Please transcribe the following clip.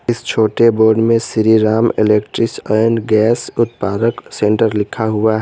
इस छोटे बोर्ड में श्रीराम इलेक्ट्रीस एंड गैस उत्पारक सेंटर लिखा हुआ है।